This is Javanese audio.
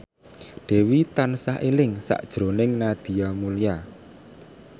Dewi tansah eling sakjroning Nadia Mulya